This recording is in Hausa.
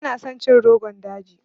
Bana son cin Rogon daji.